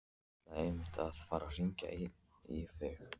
Ég ætlaði einmitt að fara að hringja í þig.